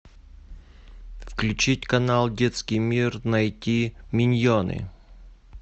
включить канал детский мир найти миньоны